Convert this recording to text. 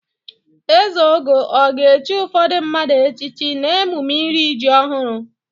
Ezeogo ọ ga-echi ụfọdụ mmadụ echichi n'emume iri ji ọhụrụ?